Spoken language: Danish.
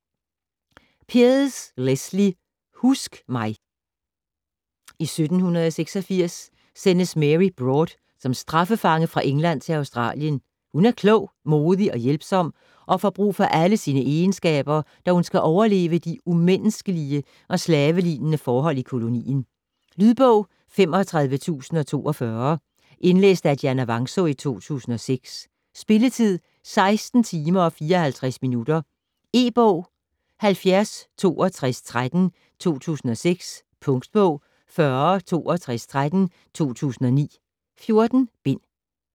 Pearse, Lesley: Husk mig! I 1786 sendes Mary Broad som straffefange fra England til Australien. Hun er klog, modig og hjælpsom og får brug for alle sine egenskaber, da hun skal overleve de umenneskelige og slavelignende forhold i kolonien. Lydbog 35042 Indlæst af Dianna Vangsaa, 2006. Spilletid: 16 timer, 54 minutter. E-bog 706213 2006. Punktbog 406213 2009. 14 bind.